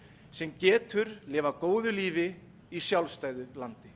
sem getur lifað góðu lífi í sjálfstæðu landi